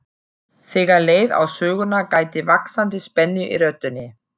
Þegar leið á söguna gætti vaxandi spennu í röddinni.